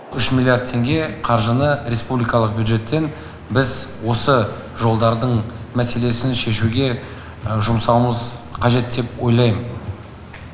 үш миллиард теңге қаржыны республикалық бюджеттен біз осы жолдардың мәселесін шешуге жұмсауымыз қажет деп ойлаймын